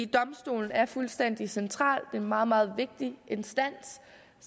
domstolen er fuldstændig central det er en meget meget vigtig instans